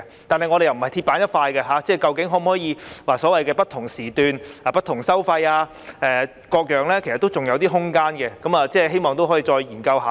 但是，我們並非鐵板一塊，究竟可否採用"不同時段，不同收費"等，其實仍有空間討論，希望可以再作研究和討論。